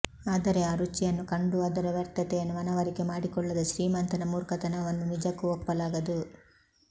ಆದರೆ ಆ ರುಚಿಯನ್ನು ಕಂಡೂ ಅದರ ವ್ಯರ್ಥತೆಯನ್ನು ಮನವರಿಕೆ ಮಾಡಿಕೊಳ್ಳದ ಶ್ರೀಮಂತನ ಮೂರ್ಖತನವನ್ನು ನಿಜಕ್ಕೂ ಒಪ್ಪಲಾಗದು